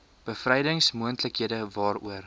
bevrydings moontlikhede waaroor